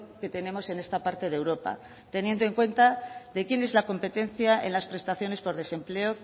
que tenemos en esta parte de europa teniendo en cuenta de quién es la competencia en las prestaciones por desempleo